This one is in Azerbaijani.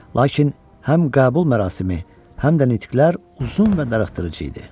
Lakin həm qəbul mərasimi, həm də nitqlər uzun və darıxdırıcı idi.